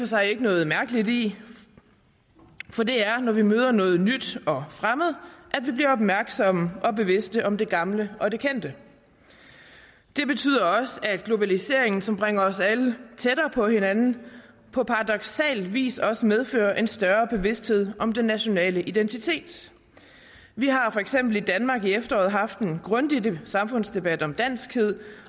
sig ikke noget mærkeligt i for det er når vi møder noget nyt og fremmed at vi bliver opmærksomme og bevidste om det gamle og det kendte det betyder også at globaliseringen som bringer os alle tættere på hinanden på paradoksal vis også medfører en større bevidsthed om den nationale identitet vi har for eksempel i danmark i efteråret haft en grundig samfundsdebat om danskhed